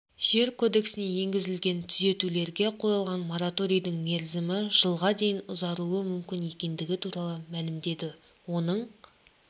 жер кодексіне енгізілген түзетулерге қойылған мораторийдің мерзімі жылға дейін ұзаруы мүмкін екендігі туралы мәлімдеді оның